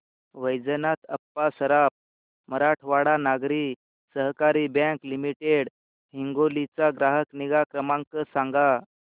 Vaijnath Appa Saraf Marathwada Nagari Sahakari bank limited Hingoli चा ग्राहक निगा क्रमांक सांगा